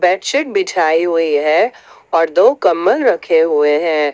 Bedsheet बिछाई हुई है और दो कंबल रखे हुए हैं।